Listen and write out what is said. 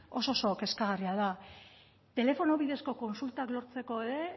oso oso kezkagarria da telefono bidezko kontsultak lortzeko ere